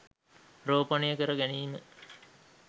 රෝපණය කර ගැනීම